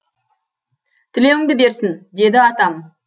тілеуіңді берсін деді атам